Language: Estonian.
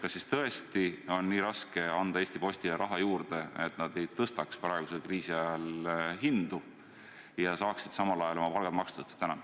Kas tõesti on nii raske anda Eesti Postile raha juurde, et nad ei tõstaks praegusel kriisiajal hindu ja saaksid samal ajal oma palgad makstud?